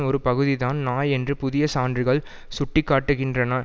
ஒரு பகுதிதான் நாய் என்று புதிய சான்றுகள் சுட்டி காட்டுகின்றன